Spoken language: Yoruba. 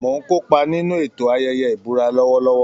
Mò ń kópa nínú ètò ayẹyẹ ìbúra lọ́wọ́lọ́wọ́